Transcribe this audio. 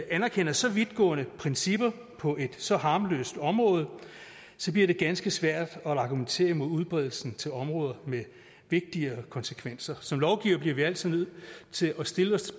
anerkender så vidtgående principper på et så harmløst område bliver det ganske svært at argumentere imod udbredelsen til områder med vigtigere konsekvenser som lovgivere bliver vi altid nødt til at stille os